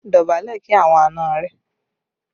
Dọ̀bálẹ̀ kí àwọn àna rẹ!